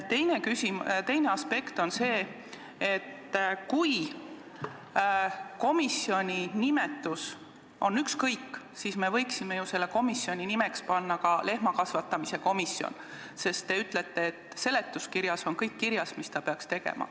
Teine aspekt on see, et kui komisjoni nimetus on ükskõik, siis me võiksime ju selle komisjoni nimeks panna ka lehmakasvatamise komisjon, sest te ütlete, et seletuskirjas on kõik kirjas, mida ta peaks tegema.